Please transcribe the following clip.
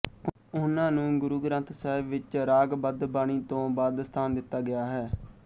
ਉਹਨਾਂ ਨੂੰ ਗੁਰੂ ਗ੍ਰੰਥ ਸਾਹਿਬ ਵਿੱਚ ਰਾਗ ਬੱਧ ਬਾਣੀ ਤੋਂ ਬਾਅਦ ਸਥਾਨ ਦਿੱਤਾ ਗਿਆ ਹੈ